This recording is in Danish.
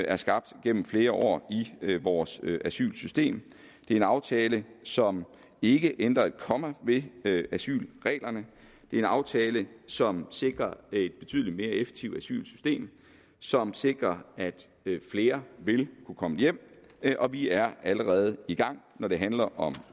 er skabt igennem flere år i vores asylsystem det er en aftale som ikke ændrer et komma ved ved asylreglerne det er en aftale som sikrer et betydelig mere effektivt asylsystem som sikrer at flere vil kunne komme hjem og vi er allerede i gang når det handler om